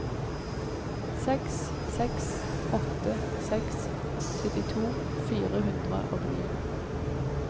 seks seks åtte seks syttito fire hundre og ni